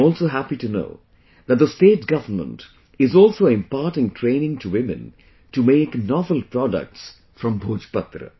I am also happy to know that the state government is also imparting training to women to make novel products from Bhojpatra